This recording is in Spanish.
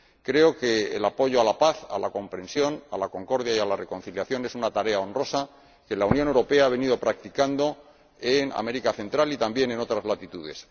Creo que el apoyo a la paz, a la comprensión, a la concordia y a la reconciliación es una tarea honrosa que la Unión Europea ha venido practicando en América Central y también en otras latitudes.